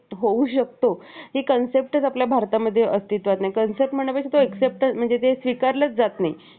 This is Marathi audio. आणि समाजाचे नेतृत्व करण्यासाठी स्वतःवर घेतले. तुकाराम महाराज, संत नामदेव, संत जनाबाई, संत गाडगे महाराज, इत्यादींसह हि नावे स्मरणात उभी आहे.